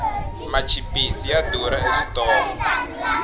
machipisi ya durha eswitolo